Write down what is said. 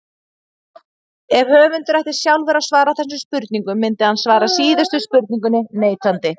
Ef höfundur ætti sjálfur að svara þessum spurningum myndi hann svara síðustu spurningunni neitandi.